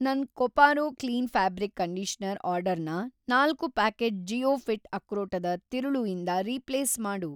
ನನ್‌ Koparo clean fabric conditioner ಆರ್ಡರ್‌ನ ನಾಲ್ಕು ಪ್ಯಾಕೆಟ್ ಜಿ಼ಯೋಫಿ಼ಟ್ ಅಕ್ರೋಟದ ತಿರುಳು ಇಂದ ರೀಪ್ಲೇಸ್‌ ಮಾಡು.